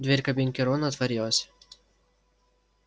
дверь кабинки рона отворилась